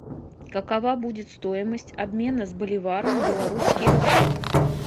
какова будет стоимость обмена с боливара на белорусские рубли